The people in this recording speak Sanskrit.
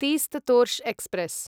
तीस्त तोर्ष एक्स्प्रेस्